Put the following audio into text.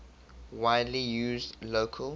widely used local